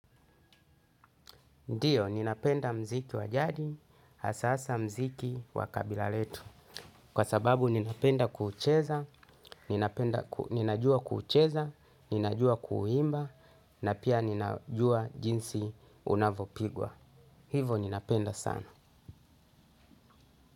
Ndio, ninapenda muziki wa jadi, hasa hasa muziki wa kabila letu. Kwa sababu ninapenda kuucheza, ninajua kuucheza, ninajua kuuimba, na pia ninajua jinsi unavopigwa. Hivo ninapenda sana.